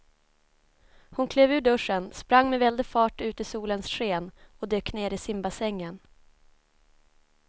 Hon klev ur duschen, sprang med väldig fart ut i solens sken och dök ner i simbassängen.